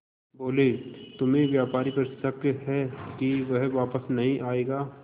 बोले तुम्हें व्यापारी पर शक है कि वह वापस नहीं आएगा